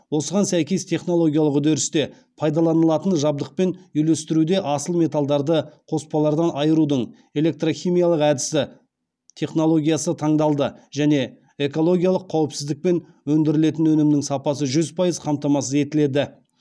осыған сәйкес технологиялық үдерісте пайдаланылатын жабдықпен үйлестіруде асыл металдарды қоспалардан айырудың электрохимиялық әдісі технологиясы таңдалды және экологиялық қауіпсіздік пен өндірілетін өнімнің сапасы жүз пайыз қамтамасыз етіледі